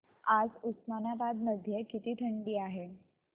आज उस्मानाबाद मध्ये किती थंडी आहे